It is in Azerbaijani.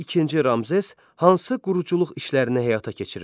İkinci Ramzes hansı quruculuq işlərinə həyata keçirirdi?